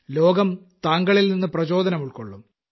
ലോകം താങ്കളിൽനിന്ന് പ്രചോദനമുൾക്കൊള്ളും